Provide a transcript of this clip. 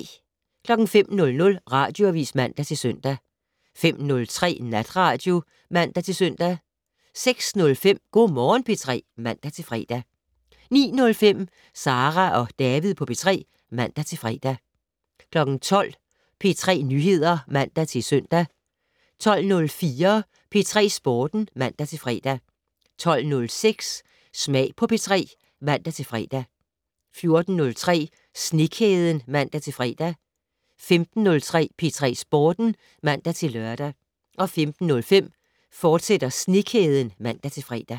05:00: Radioavis (man-søn) 05:03: Natradio (man-søn) 06:05: Go' Morgen P3 (man-fre) 09:05: Sara og David på P3 (man-fre) 12:00: P3 Nyheder (man-søn) 12:04: P3 Sporten (man-fre) 12:06: Smag på P3 (man-fre) 14:03: Snekæden (man-fre) 15:03: P3 Sporten (man-lør) 15:05: Snekæden, fortsat (man-fre)